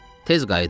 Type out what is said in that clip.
Tez qayıt ha!